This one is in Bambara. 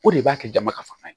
O de b'a kɛ dama ka fa ye